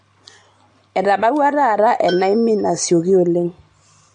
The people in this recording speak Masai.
Etabawua taata enaimin asioki oleng.